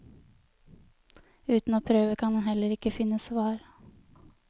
Uten å prøve kan en heller ikke finne svar.